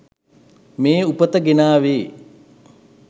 මේ උපත ගෙනාවේ.